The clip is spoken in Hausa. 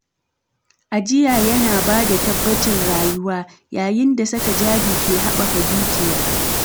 Ajiya yana ba da tabbacin rayuwa, yayin da saka jari ke habaka dukiya.